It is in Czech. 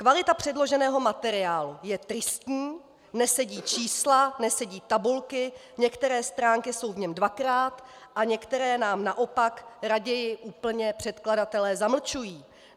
Kvalita předloženého materiálu je tristní, nesedí čísla, nesedí tabulky, některé stránky jsou v něm dvakrát a některé nám naopak raději úplně předkladatelé zamlčují.